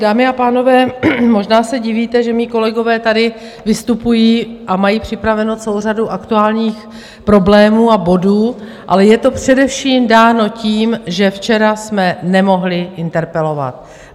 Dámy a pánové, možná se divíte, že mí kolegové tady vystupují a mají připravenou celou řadu aktuálních problémů a bodů, ale je to především dáno tím, že včera jsme nemohli interpelovat.